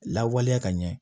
Lawaleya ka ɲɛ